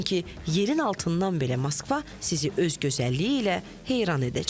Çünki yerin altından belə Moskva sizi öz gözəlliyi ilə heyran edəcək.